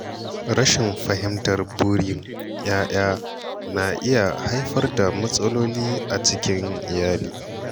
Rashin fahimtar burin ‘ya’ya na iya haifar da matsaloli a cikin iyali.